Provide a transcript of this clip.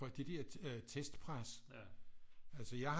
Fordi det der øh testpres altså jeg har